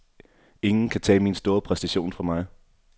Ingen kan tage min store præstation fra mig.